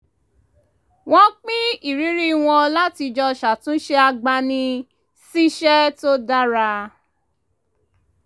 wọ́n pín ìrírí wọn láti jọ ṣàtúnṣe agbani-síṣẹ́ tó dára